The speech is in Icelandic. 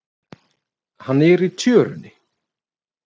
Hann er í tjörunni.